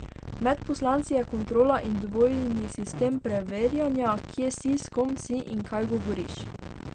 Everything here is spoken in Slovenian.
Med poslanci je kontrola in dvojni sistem preverjanja, kje si, s kom si in kaj govoriš.